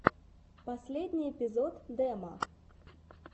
последний эпизод демо